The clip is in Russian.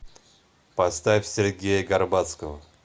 поставь сергея горбацкого